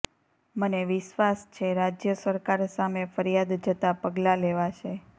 મને વિશ્વાસ છે રાજ્ય સરકાર સામે ફરિયાદ જતા પગલા લેવાશે